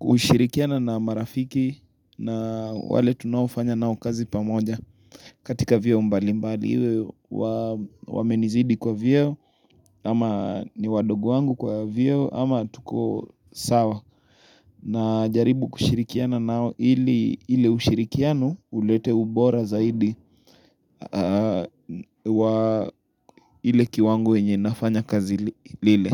ushirikiano na marafiki na wale tunaofanya nao kazi pamoja katika vyeo mbali mbali iwe wamenizidi kwa vyeo ama ni wadogo wangu kwa vyeo ama tuko sawa na jaribu kushirikiana nao ile ushirikiano ulete ubora zaidi wa ile kiwango yenye nafanya kazi lile.